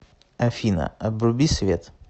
афина обруби свет